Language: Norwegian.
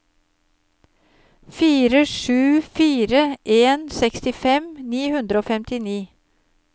fire sju fire en sekstifem ni hundre og femtini